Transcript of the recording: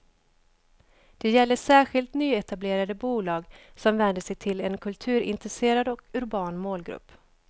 Det gäller särskilt nyetablerade bolag som vänder sig till en kulturintresserad och urban målgrupp.